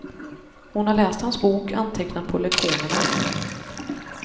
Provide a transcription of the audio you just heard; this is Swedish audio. Hon har läst hans bok, antecknat på lektionerna.